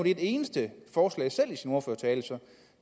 et eneste forslag i sin ordførertale så